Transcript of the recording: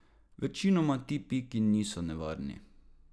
Večinoma ti piki niso nevarni.